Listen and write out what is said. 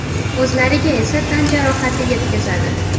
O‘zlariga esa tan jarohati yetkazadi.